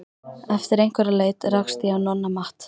Eftir einhverja leit rakst ég á Nonna Matt.